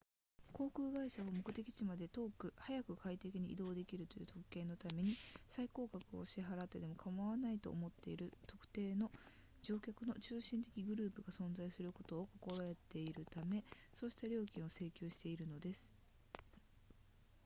航空会社は目的地まで速く快適に移動できるという特権のために最高額を支払ってもかまわないと思っている特定の乗客の中心的グループが存在することを心得ているためそうした料金を請求しているのです